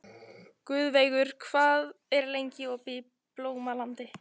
Guðveigur, hvað er lengi opið í Blómalandi?